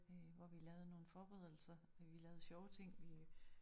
Øh hvor vi lavede nogle forberedelser øh vi lavede sjove ting øh